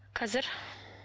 қазір